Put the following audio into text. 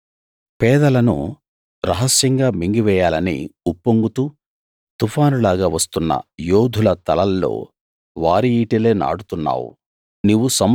పేదలను రహస్యంగా మింగివేయాలని ఉప్పొంగుతూ తుఫానులాగా వస్తున్న యోధుల తలల్లో వారి ఈటెలే నాటుతున్నావు